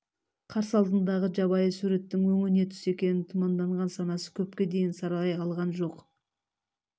қарсы алдындағы жабайы суреттің өңі не түс екенін тұманданған санасы көпке дейін саралай алған жоқ